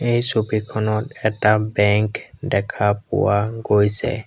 এই ছবিখনত এটা বেংক দেখা পোৱা গৈছে।